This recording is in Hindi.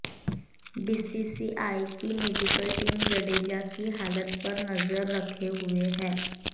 बीसीसीआई की मेडिकल टीम जडेजा की हालत पर नजर रखे हुए है